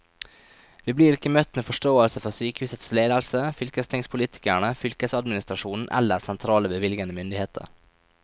Vi blir ikke møtt med forståelse fra sykehusets ledelse, fylkestingspolitikerne, fylkesadministrasjonen eller sentrale bevilgende myndigheter.